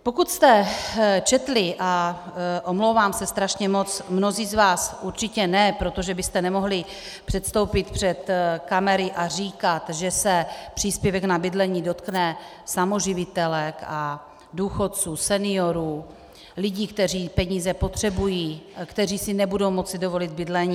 Pokud jste četli, a omlouvám se strašně moc, mnozí z vás určitě ne, protože byste nemohli předstoupit před kamery a říkat, že se příspěvek na bydlení dotkne samoživitelek, důchodců, seniorů, lidí, kteří peníze potřebují a kteří si nebudou moci dovolit bydlení.